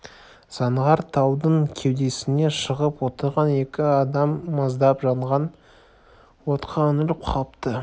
заңғар таудың кеудесіне шығып отырған екі адам маздап жанған отқа үңіліп қапты